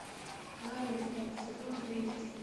наруто сезон девять